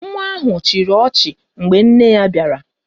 Nwa ahụ chịrị ọchị mgbe nne ya bịara